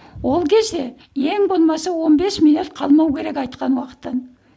ол кезде ең болмаса он бес минут қалмау керек айтқан уақыттан